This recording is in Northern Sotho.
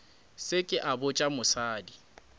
se ke a botša mosadi